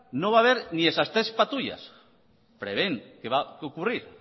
no va a ver ni esas tres patrullas prevén que va a ocurrir